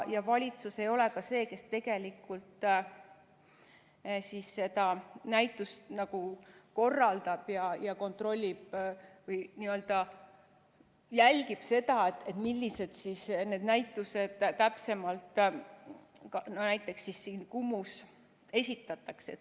Valitsus ei ole ka see, kes tegelikult seda näitust korraldab ja kontrollib või jälgib seda, milliseid näitusi täpsemalt näiteks Kumus esitatakse.